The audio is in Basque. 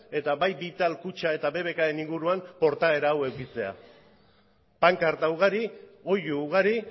eta bai vital kutxa eta bbkren inguruan portaera hau edukitzea pankarta ugari oihu ugari